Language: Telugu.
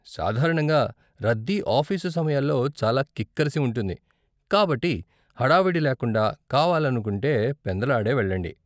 సాధారణంగా రద్దీ ఆఫీసు సమయాల్లో చాలా కిక్కిరసి ఉంటుంది, కాబట్టి హడావిడి లేకుండా కావాలనుకుంటే పెందలాడే వెళ్ళండి.